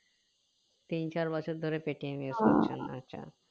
তিন চার বছর ধরে paytm use করছেন আচ্ছা